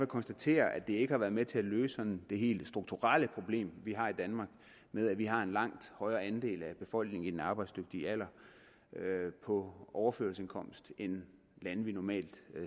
konstatere at det ikke har været med til at løse det helt strukturelle problem vi har i danmark med at vi har en langt højere andel af befolkningen i den arbejdsdygtige alder på overførselsindkomst end lande vi normalt